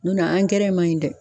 Nɔtɛ man ɲi dɛ.